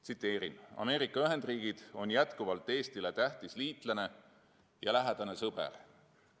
Tsiteerin: "Ameerika Ühendriigid on jätkuvalt Eestile tähtis liitlane ja lähedane sõber.